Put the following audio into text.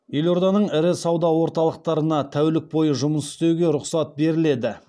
елорданың ірі сауда орталықтарына тәулік бойы жұмыс істеуге рұқсат беріледі